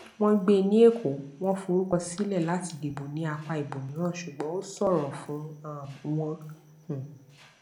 wọn gbé ní èkó wọn forúkọ sílẹ láti dìbò ní apá ibòmíràn ṣùgbọn ó ṣòro fún um wọn um